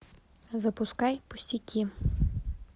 запускай пустяки